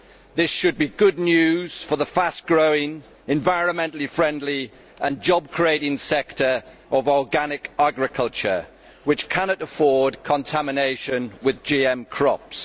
This should be good news for the fast growing, environmentally friendly and job creating sector of organic agriculture, which cannot afford contamination with GM crops.